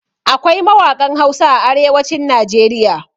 Akwai mawaƙan Hausa a arewacin Najeriya.